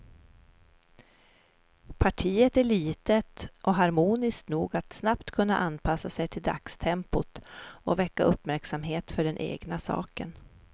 Partiet är litet och harmoniskt nog att snabbt kunna anpassa sig till dagstempot och väcka uppmärksamhet för den egna saken.